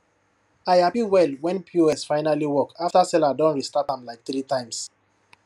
i happy well when pos finally work after seller don restart am like three times